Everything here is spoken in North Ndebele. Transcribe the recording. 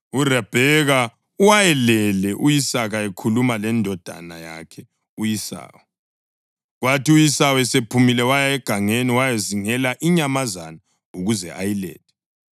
URabheka wayelalele u-Isaka ekhuluma lendodana yakhe u-Esawu. Kwathi u-Esawu esephumile waya egangeni ukuyazingela inyamazana ukuze ayilethe,